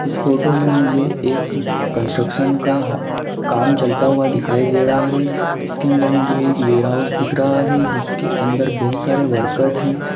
इस फोटो में मुझे एक कंस्ट्रक्शन का काम चलता हुआ दिखाई दे रहा है इसके अंदर मुझे एक वेयरहाउस दिख रहा है जिसके अंदर बहोत सारे वर्क्स है।